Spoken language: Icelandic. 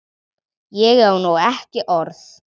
Ég á nú ekki orð!